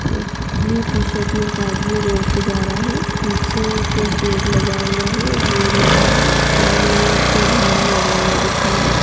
Blue t shirt मे एक आदमी रोड पे जा रहा है पीछे एक शेड लगा हुआ है और बोर्ड लगा है और एक झंडा लगा हुआ दिख रहा है।